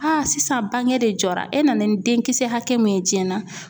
sisan bange de jɔra e nana ni denkisɛ hakɛ min ye jiyɛn na